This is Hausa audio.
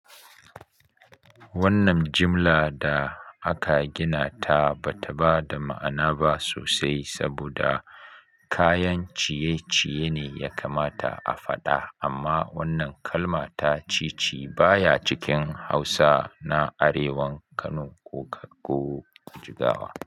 Wannan jimla da aka gina ta ba ta ba da ma'ana ba sosai saboda kayan ciye-ciye ne ya kamata a faɗa amma wannan kalma ta "cici" baya cikin Hausa na arewan Kano ko Jigawa.